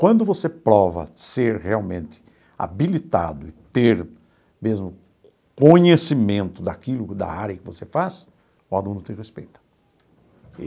Quando você prova ser realmente habilitado e ter mesmo conhecimento daquilo, da área que você faz, o aluno te respeita.